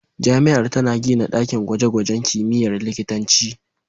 Jami'ar tana gina dakin gwaje-gwajen kimiyyar likitanci.